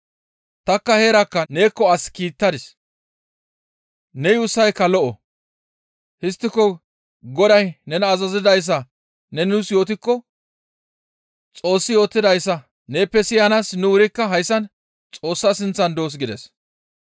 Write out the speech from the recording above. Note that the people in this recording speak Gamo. Tanikka heerakka neekko as kiittadis; ne yuussayka lo7o; histtiko Goday nena azazidayssa ne nuus yootikko Xoossi yootidayssa neeppe siyanaas nu wurikka hayssan Xoossa sinththan doos» gides.